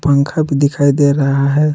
पंखा भी दिखाई दे रहा है।